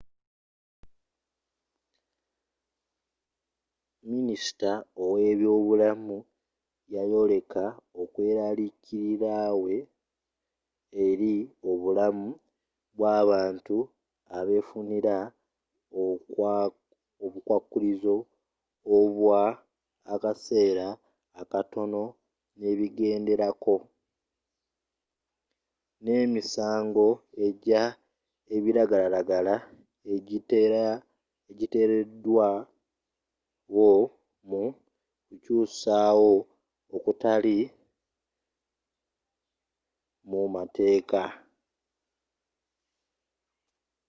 minisita wa eby'obulamu yayoleka okw-eraliikirirawe eri obulamu bw'abantu abefunira obukwakulizo obwa akaseera akatono n'ebigenderako n'emisango egya ebiragalalagala egyiteeredwawo mu kukyusawo okutali mu mateeka